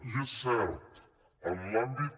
i és cert en l’àmbit